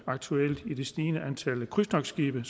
aktuelt med det stigende antal krydstogtskibe